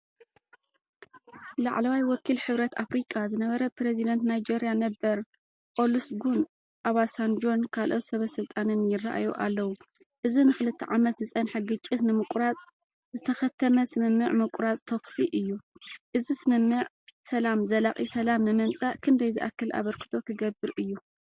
ላዕለዋይ ወኪል ሕብረት ኣፍሪቃ ዝነበረ ፕረዚደንት ናይጀርያ ነበር ኦሉሰጉን ኦባሳንጆን ካልኦት ሰበስልጣንን ይረኣዩ ኣለዉ። እዚ ንኽልተ ዓመት ዝጸንሐ ግጭት ንምቁራጽ፡ ዝተኸተመ ስምምዕ ምቁራጽ ተኹሲ እዩ። እዚ ስምምዕ ሰላም ዘላቒ ሰላም ንምምጻእ ክንደይ ዝኣክል ኣበርክቶ ክገብር እዩ?